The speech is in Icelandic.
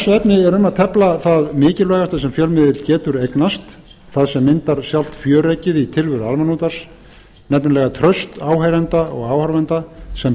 er um að tefla það mikilvægasta sem fjölmiðill getur eignast það sem myndar sjálft fjöreggið í tilveru almannaútvarps nefnilega traust áheyrenda og áhorfenda sem